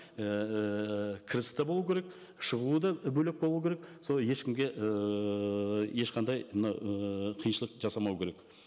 ііі кіріс те болу керек шығуы да бөлек болу керек сол ешкімге ыыы ешқандай мына ыыы қиыншылық жасамау керек